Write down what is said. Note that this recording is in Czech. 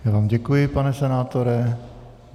Já vám děkuji, pane senátore.